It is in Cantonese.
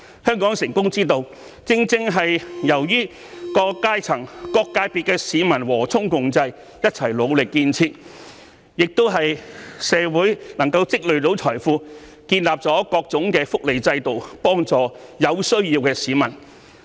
香港成功之道，正是由於各階層、各界別的市民和衷共濟，一起努力建設；亦由於社會能夠積累財富，建立各種福利制度，幫助有需要的市民。